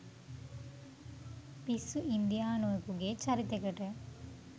පිස්සු ඉන්දියානුවෙකුගේ චරිතෙකට.